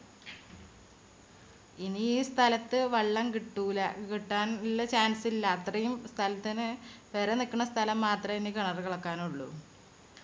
ഇനി ഈ സ്ഥലത്തു വെള്ളം കിട്ടൂല്ല കിട്ടാനിള്ള chance ഇല്ല അത്രയും സ്ഥലത്തിന് പെര നിക്കണ സ്ഥലം മാത്രേ ഇനി കിണറ് കളക്കാനുള്ളു.